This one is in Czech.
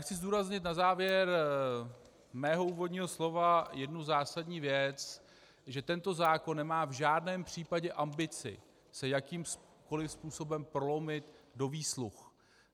Chci zdůraznit na závěr svého úvodního slova jednu zásadní věc, že tento zákon nemá v žádném případě ambici se jakýmkoliv způsobem prolomit do výsluh.